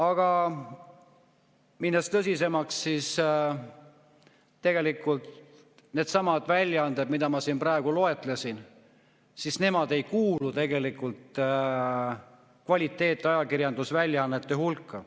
Aga minnes tõsisemaks, siis tegelikult needsamad väljaanded, mis ma siin praegu loetlesin, ei kuulu kvaliteetajakirjanduse väljaannete hulka.